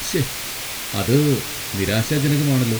ശ്ശേ, അത് നിരാശാജനകമാണല്ലോ!